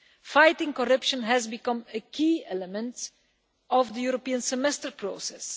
Fighting corruption has become a key element of the European Semester process.